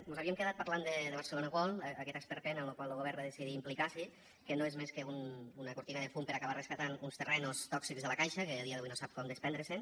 mos havíem quedat parlant de barcelona world aquest esperpent en lo qual lo govern va decidir implicar se que no és més que una cortina de fum per acabar rescatant uns terrenys tòxics de la caixa que a dia d’avui no sap com desprendre se’n